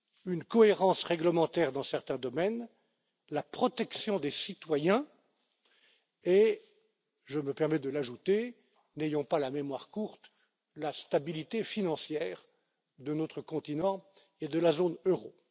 Une cohérence réglementaire dans certains domaines, la protection des citoyens et, je me permets de l'ajouter, n'ayons pas la mémoire courte la stabilité financière de notre continent et de la zone euro.